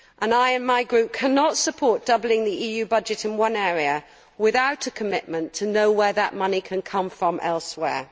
I, and my group, cannot support doubling the EU budget in one area without a commitment to showing where that money can come from elsewhere.